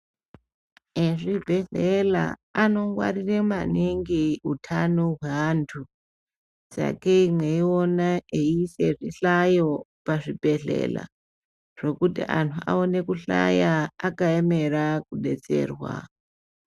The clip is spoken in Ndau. Ezvi bhedhlela anongwarira maningi utano hwaantu sakei mweina eiisa zvihlayo pazvibhedhlera zvokuti antu aone kuhlaya akaemera kudetserwa .